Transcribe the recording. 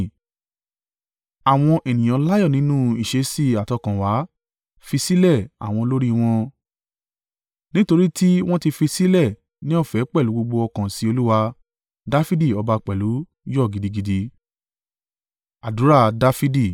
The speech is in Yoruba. Àwọn ènìyàn láyọ̀ nínú ìṣesí àtọkànwá fi sílẹ̀ àwọn olórí wọn, nítorí tí wọ́n ti fi sílẹ̀ ní ọ̀fẹ́ pẹ̀lú gbogbo ọkàn sí Olúwa. Dafidi ọba pẹ̀lú yọ̀ gidigidi.